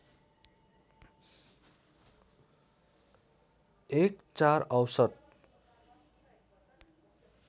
एक ४ औसत